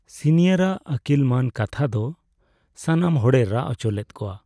Senior ᱟᱜ ᱟᱹᱠᱤᱞᱢᱟᱹᱱ ᱠᱛᱷᱟ ᱫᱚ ᱥᱟᱱᱟᱢ ᱦᱚᱲᱮ ᱨᱟᱜ ᱦᱚᱪᱚ ᱞᱮᱫ ᱠᱚᱣᱟ ᱾